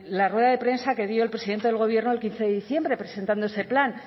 la rueda de prensa que dio el presidente del gobierno el quince de diciembre presentando ese plan